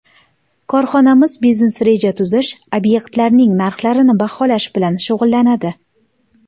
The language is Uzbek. Korxonamiz biznes-reja tuzish, obyektlarning narxlarini baholash bilan shug‘ullanadi.